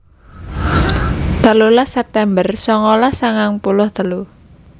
telulas september songolas sangang puluh telu